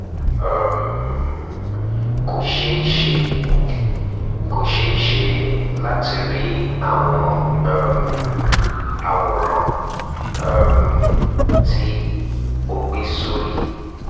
um " kò ṣeé ṣe kò ṣeé ṣe láti rí àwọn um àwòrán um tí o gbé sórí